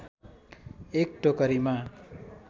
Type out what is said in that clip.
एक टोकरीमा